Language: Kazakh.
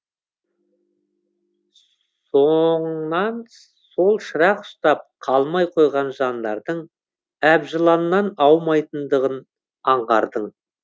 соңыңнан сол шырақ ұстап қалмай қойған жандардың әбжыланнан аумайтынын аңғардың